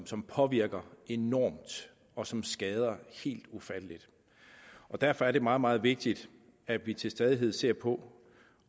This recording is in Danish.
som påvirker enormt og som skader helt ufatteligt derfor er det meget meget vigtigt at vi til stadighed ser på